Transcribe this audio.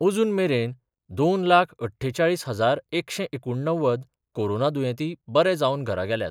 अजून मेरेन दोन लाख अठ्ठेचाळीस हजारएकशे एकुणणव्वद कोरोना दुयेंती बरे जावन घरा गेल्यात.